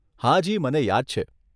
હાજી, મને યાદ છે.